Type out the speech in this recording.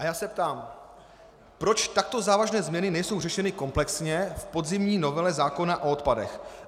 A já se ptám: Proč takto závažné změny nejsou řešeny komplexně v podzimní novele zákona o odpadech?